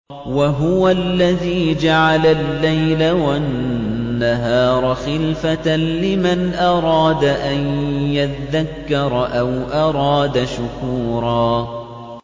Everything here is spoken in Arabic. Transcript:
وَهُوَ الَّذِي جَعَلَ اللَّيْلَ وَالنَّهَارَ خِلْفَةً لِّمَنْ أَرَادَ أَن يَذَّكَّرَ أَوْ أَرَادَ شُكُورًا